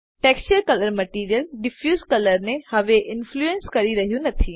texture colour material diffuse colour ને હવે influence કરી રહ્યું નથી